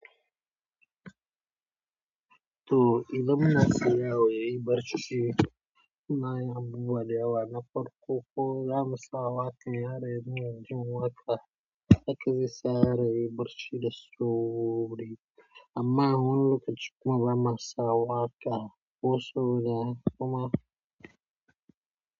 To ilam na siyawo yi barci shi na ya buwa da yawa na farko ko zamu sawa karya re jima ka hakizai sare yi barci daso wuri amma hun luku jukun rama sawa ka kosowa kuma.